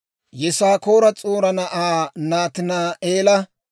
Yisaakoora S'u'aara na'aa Nataani'eela,